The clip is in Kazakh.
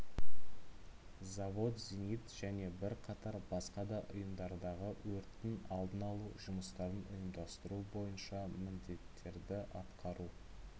завод зенит және бірқатар басқа да ұйымдардағы өрттің алдын алу жұмыстарын ұйымдастыру бойынша міндеттерді атқару